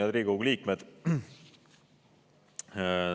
Head Riigikogu liikmed!